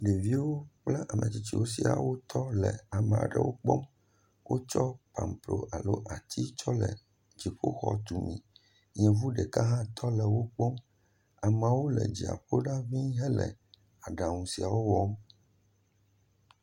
Ɖeviwo kple ametsitsiwo sia wo tɔ amaɖewo kpɔm, wo tsɔ pampro alo ati tsɔ le dziƒo xɔ tumi, yevu ɖeka hã tɔ le wo kpɔm, amawo le dziaƒo ɖa ʋi he le aɖaŋu siawo wɔm.